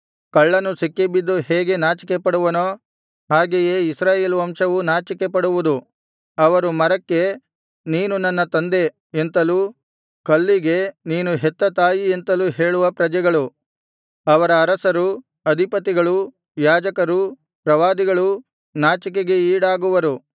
ಕಳ್ಳನು ಸಿಕ್ಕಿಬಿದ್ದು ಹೇಗೆ ನಾಚಿಕೆಪಡುವನೋ ಹಾಗೆಯೇ ಇಸ್ರಾಯೇಲ್ ವಂಶವು ನಾಚಿಕೆಪಡುವುದು ಅವರು ಮರಕ್ಕೆ ನೀನು ನನ್ನ ತಂದೆ ಎಂತಲೂ ಕಲ್ಲಿಗೆ ನೀನು ಹೆತ್ತ ತಾಯಿ ಎಂತಲೂ ಹೇಳುವ ಪ್ರಜೆಗಳು ಅವರ ಅರಸರು ಅಧಿಪತಿಗಳು ಯಾಜಕರು ಪ್ರವಾದಿಗಳು ನಾಚಿಕೆಗೆ ಈಡಾಗುವರು